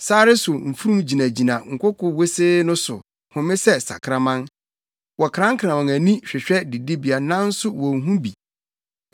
Sare so mfurum gyinagyina nkoko wosee no so home sɛ sakraman; wɔkrankran wɔn ani hwehwɛ didibea nanso wonhu bi.”